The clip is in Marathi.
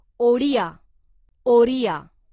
ओडिया ओरिया